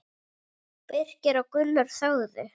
Birkir og Gunnar þögðu.